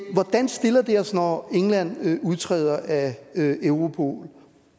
hvordan stiller det os når england udtræder af europol